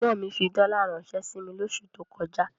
Ẹ̀gbọ́n mi fi dọ́là ránṣẹ́ sí mi lóṣù tó kọjá.